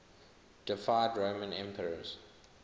deified roman emperors